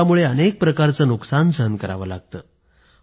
पूरामुळे अनेक प्रकारचं नुकसान सहन करावं लागतं